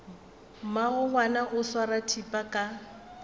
mmagongwana o swara thipa ka